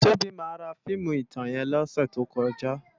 Tobi má rá fiimú itán yèn lòsè tókòjá